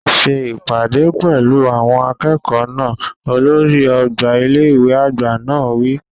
Ṣe ìpàdé pẹ̀lú àwọn akẹ́kọ̀ọ́ náà! Olórí ọgbà ilé ìwé àgbà náà wí.